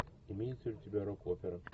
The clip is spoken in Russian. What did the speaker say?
имеется ли у тебя рок опера